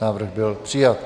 Návrh byl přijat.